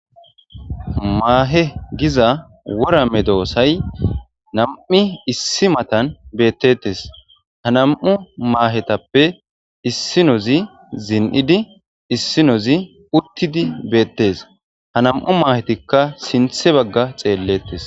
maahe giza worame doosay nam7i issi matan beettetes ha nam7u maahetappe issinozi zin7idi issinozi uttidi beettes ha nam7u maahetikka sinthe bagga xeellettes